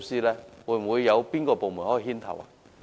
請問會否有部門牽頭呢？